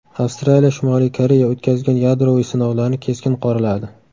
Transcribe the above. Avstraliya Shimoliy Koreya o‘tkazgan yadroviy sinovlarni keskin qoraladi.